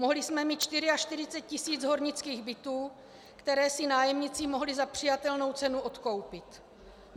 Mohli jsme mít 44 tisíc hornických bytů, které si nájemníci mohli za přijatelnou cenu odkoupit.